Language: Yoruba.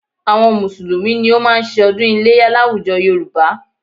Àwọn Mùsùlùmí ni ó máa ń ṣe ọdún iléyá láwùjọ Yorùbá